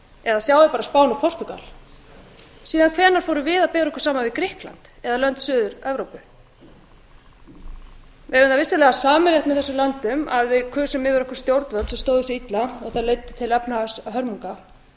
eða sjáið bara spán og portúgal en síðan hvenær fórum við að bera okkur saman við grikkland eða lönd suður evrópu við eigum það vissulega sameiginlegt með þessum löndum að við kusum yfir okkur stjórnvöld sem stóðu sig illa og það leiddi til efnahagshörmunga